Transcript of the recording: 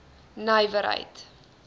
nywerheid